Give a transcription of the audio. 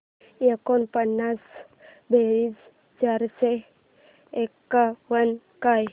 एकोणपन्नास बेरीज चारशे एकावन्न काय